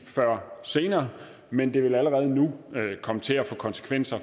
før senere men det vil allerede nu komme til at få konsekvenser